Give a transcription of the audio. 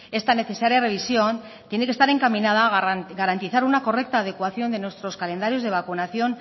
esta necesaria revisión tiene que estar encaminada a garantizar una correcta adecuación de nuestros calendarios de vacunación